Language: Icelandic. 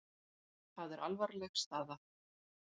Það er alvarleg staða.